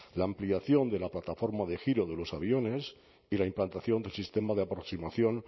la ampliación de la plataforma de giro de los aviones y la implantación del sistema de aproximación